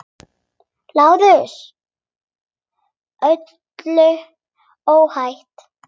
LÁRUS: Öllu óhætt!